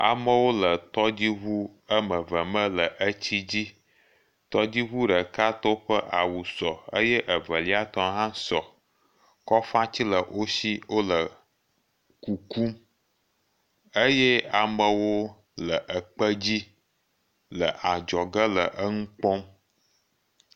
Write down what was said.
Amewo le tɔdziŋu wɔme eve me le tsi dzi. Tɔdziŋɔ ɖekatɔwo ƒe awu sɔ eye Evelia tɔ hã sɔ. Kɔfatsi le wosi wole kukum eye amewo le kpe dzi le adzɔge le eŋu kpɔm.